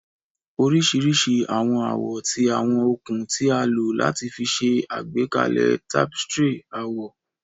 oriṣiriṣi awọn awọ ti awọn okun ti a lo lati ṣe agbekalẹ tapestry awọ.